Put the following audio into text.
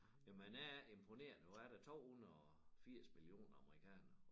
Jamen han er imponerende og er der 280 millioner amerikanere